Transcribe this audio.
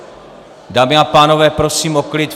Dámy a pánové, prosím o klid.